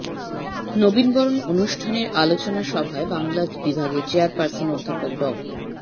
নবীনবরণ অনুষ্ঠানের আলোচনা সভায় বাংলা বিভাগের চেয়ারপার্সন অধ্যাপক ড